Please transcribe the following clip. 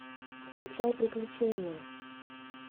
включай приключения